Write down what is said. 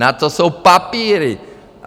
Na to jsou papíry.